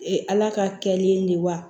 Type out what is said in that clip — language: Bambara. Ee ala ka kɛlen de ye wa